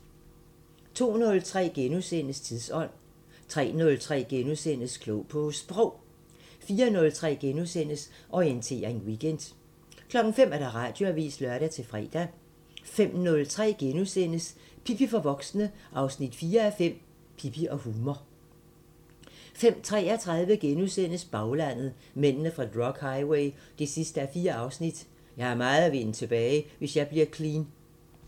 02:03: Tidsånd * 03:03: Klog på Sprog * 04:03: Orientering Weekend * 05:00: Radioavisen (lør-fre) 05:03: Pippi for voksne 4:5 – Pippi og humor * 05:33: Baglandet: Mændene fra drug highway 4:4 – "Jeg har meget at vinde tilbage, hvis jeg bliver clean" *